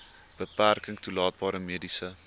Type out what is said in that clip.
beperking toelaatbare mediese